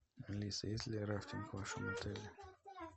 алиса есть ли рафтинг в вашем отеле